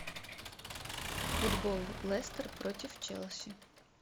футбол лестер против челси